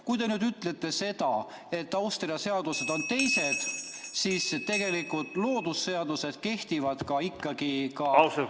Kui te nüüd ütlete seda, et Austria seadused on teised, siis tegelikult loodusseadused kehtivad ikkagi ühtemoodi.